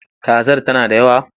Kazar tana da yawa?